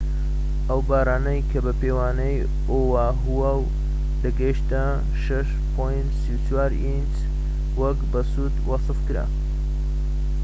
ئەو بارانەی کە بە پێوانەی ئۆاهاو دەگەیشتە 6.34 ئینج وەک بەسوود وەسفکرا